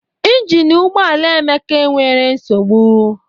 Ịnginu ụgbọala Emeka e nwere nsogbu